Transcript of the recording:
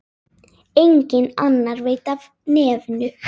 Enginn annar veit af nefinu.